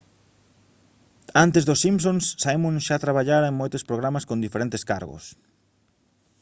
antes dos simpsons simon xa traballara en moitos programas con diferentes cargos